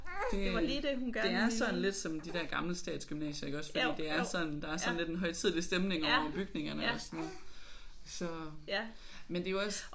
Det der er sådan lidt som de der gamle statsgymnasier iggås fordi det er sådan der er sådan lidt en højtidelig stemning over bygningerne og sådan noget så men det er jo også